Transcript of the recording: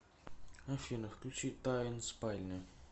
афина включи тайн спальня